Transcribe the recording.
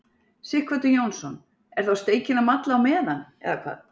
Sighvatur Jónsson: Er þá steikin að malla á meðan, eða hvað?